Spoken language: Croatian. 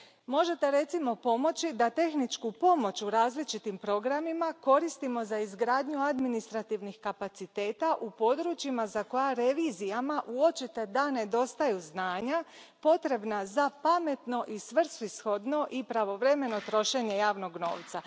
Možete, recimo, pomoći da tehničku pomoć u različitim programima koristimo za izgradnju administrativnih kapaciteta u područjima za koja je revizijama očito da nedostaju znanja potrebna za pametno, svrsishodno i pravovremeno trošenje javnog novca.